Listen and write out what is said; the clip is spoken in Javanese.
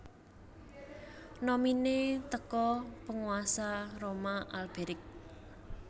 nominee teko Penguasa Roma Alberic